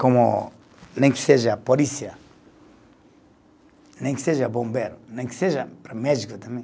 como nem que seja polícia, nem que seja bombeiro, nem que seja para médico também.